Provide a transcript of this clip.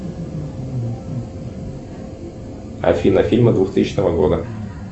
афина фильмы двухтысячного года